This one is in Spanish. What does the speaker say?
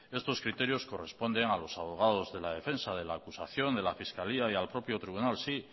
estos criterios corresponden a los abogados de la defensa de la acusación de la fiscalía y al propio tribunal sí